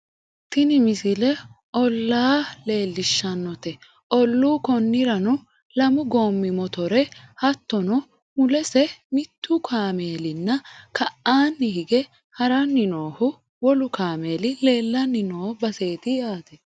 tini misile ollaa leellishshannote ollu konnirano lamu goommi motore hatttono mulese mittu kaameelinna ka'aanni hige haranni noohu wolu kameeli leellanni no baseeti yaate